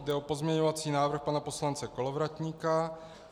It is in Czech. Jde o pozměňovací návrh pana poslance Kolovratníka.